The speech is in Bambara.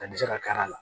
A bɛ se ka kari a la